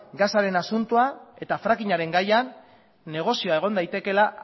gasaren asuntoan eta bai fracking aren gaian negozioa egon daitekeela